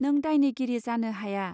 नों दायनिगिरि जानो हाया